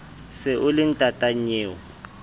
se o le ntata nnyeo